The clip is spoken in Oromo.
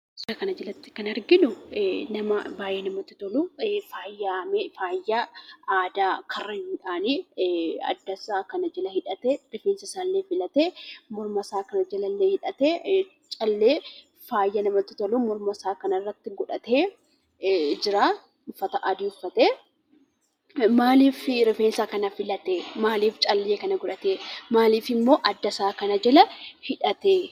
Suuraa kanarratti kan arginuu nama baay'ee namatti toluu faayamee faaya aadaa karrayyuudhaan addasaa kana jala hidhatee rifeensasaallee filatee callee faaya namatti toluun mormasaa jalallee hidhatee jiraa. Uffata adii uffatee, maaliif rifeensa kana filatee? maaliif callee kana godhatee? Maaliif addasaa kana jalammoo hidhatee?